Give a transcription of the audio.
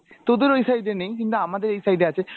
তোদের ওই side এ নেই কিন্তু আমাদের এই side এ আছে,